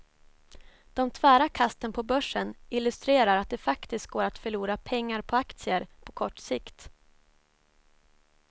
De tvära kasten på börsen illustrerar att det faktiskt går att förlora pengar på aktier på kort sikt.